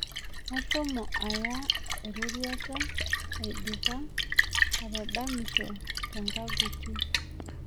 Ashomo aya ena roruata aidipa atadamisho tenkaaguti